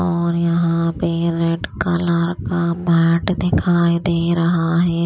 और यहां पे रेड कलर का पार्ट दिखाई दे रहा है।